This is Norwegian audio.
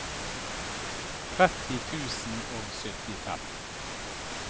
tretti tusen og syttifem